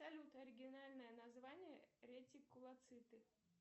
салют оригинальное название ретикулоциты